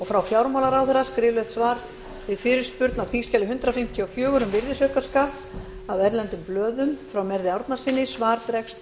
frá fjármálaráðherra skriflegt svar við fyrirspurn á þingskjali hundrað fimmtíu og fjögur um virðisaukaskatt af erlendum blöðum frá merði árnasyni svar dregst